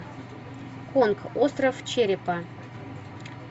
конг остров черепа